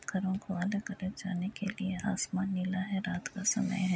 घरों को अलग-अलग जाने के लिए आसमान नीला है रात का समय है।